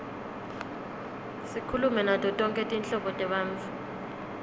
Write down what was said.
sikhulume nato tonkhe tinhlobo tebantfu